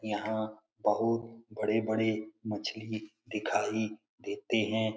यहाँ बहुत बड़ी-बड़ी मछ्ली दिखाई देते हैं।